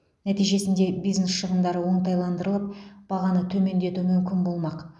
нәтижесінде бизнес шығындары оңтайландырылып бағаны төмендету мүмкін болмақ